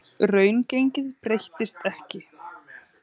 Reikistjarnan Júpíter.